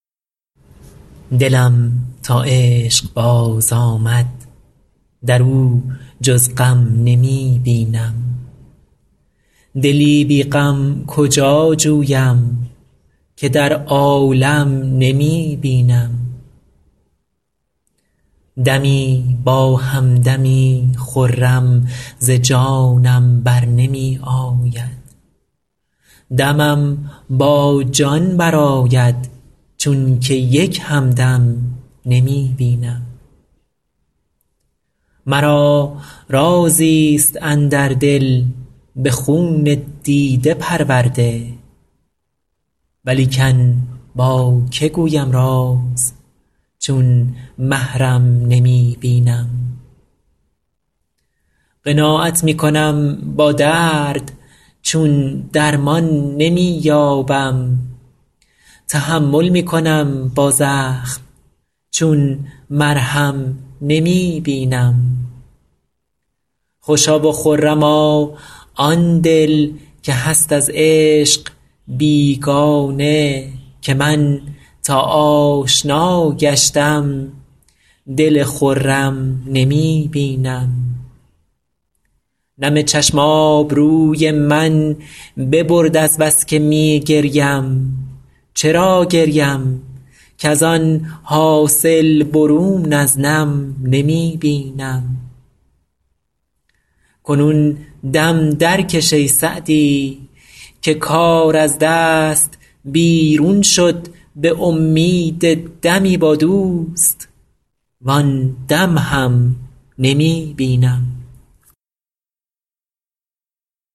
دلم تا عشق باز آمد در او جز غم نمی بینم دلی بی غم کجا جویم که در عالم نمی بینم دمی با هم دمی خرم ز جانم بر نمی آید دمم با جان برآید چون که یک هم دم نمی بینم مرا رازی ست اندر دل به خون دیده پرورده ولیکن با که گویم راز چون محرم نمی بینم قناعت می کنم با درد چون درمان نمی یابم تحمل می کنم با زخم چون مرهم نمی بینم خوشا و خرما آن دل که هست از عشق بیگانه که من تا آشنا گشتم دل خرم نمی بینم نم چشم آبروی من ببرد از بس که می گریم چرا گریم کز آن حاصل برون از نم نمی بینم کنون دم درکش ای سعدی که کار از دست بیرون شد به امید دمی با دوست وآن دم هم نمی بینم